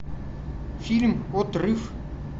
фильм отрыв